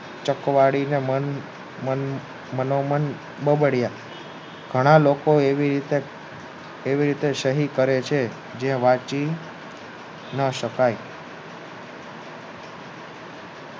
ચકવાદીને મન મનોમન બબડ્યા ઘણા લોકો એવી રીતે સહી કરે છે જે વાંચી ન શકાય